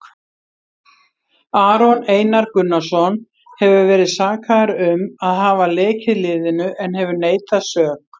Aron Einar Gunnarsson hefur verið sakaður um að hafa lekið liðinu en hefur neitað sök.